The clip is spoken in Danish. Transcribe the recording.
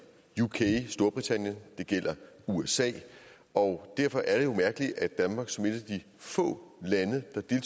storbritannien det gælder usa og derfor er det jo mærkeligt at danmark som et af de få lande der